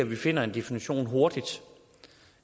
vi finder en definition hurtigt